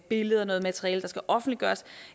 billeder noget materiale der skal offentliggøres